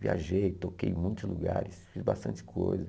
Viajei, toquei em muitos lugares, fiz bastante coisa.